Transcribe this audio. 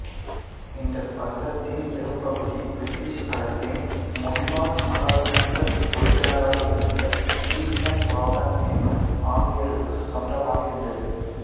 இந்தப் பள்ளத்தின் பெரும்பகுதி பிரிட்டிஷ் அரசின் முன்னாள் நாடாளுமன்ற உறுப்பினராக இருந்த ஸ்டீபன் பாபன் என்னும் ஆங்கிலேயருக்குச் சொந்தமாக இருந்துள்ளது